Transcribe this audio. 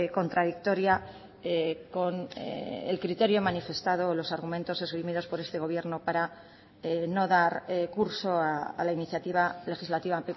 contradictoria con el criterio manifestado los argumentos esgrimidos por este gobierno para no dar curso a la iniciativa legislativa